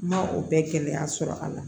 N ma o bɛɛ gɛlɛya sɔrɔ a la